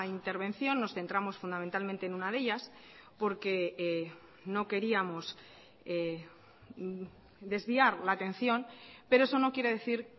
intervención nos centramos fundamentalmente en una de ellas porque no queríamos desviar la atención pero eso no quiere decir